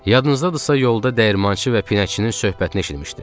Yadınızdadırsa yolda dəyirmançı və pinəkçinin söhbətini eşitmişdim.